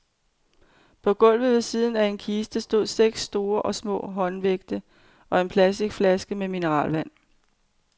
På gulvet ved siden af en kiste stod seks store og små håndvægte og en plasticflaske med mineralvand.